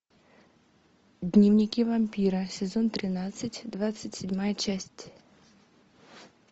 дневники вампира сезон тринадцать двадцать седьмая часть